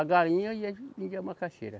A galinha e a, vendia macaxeira.